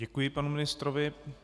Děkuji panu ministrovi.